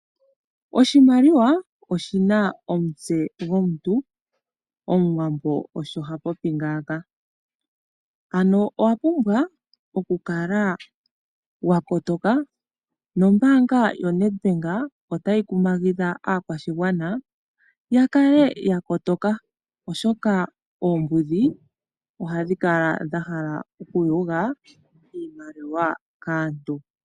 Oshimaliwa oshi na omutse gwomuntu, Omuwambo osho ha popi ngaaka. Ano, owa pumbwa okukala wa kotoka. Nombaanga yoNedbank otayi kumagidha aakwashigwana ya kale ya kotoka, oshoka oombudhi ohadhi kala dha hala okuyuga iimaliwa kaantu.